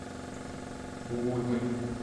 бугульмой